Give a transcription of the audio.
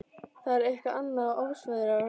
Það er eitthvað annað en ofsaveðrið á